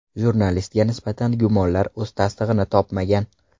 Jurnalistga nisbatan gumonlar o‘z tasdig‘ini topmagan.